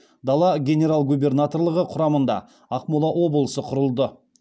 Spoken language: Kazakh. дала генерал губернаторлығы құрамында ақмола облысы құрылды